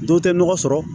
Dɔw tɛ nɔgɔ sɔrɔ